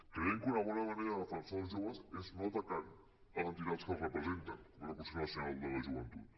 creiem que una bona manera de defensar els joves és no atacant les entitats que els representen com és el consell nacional de la joventut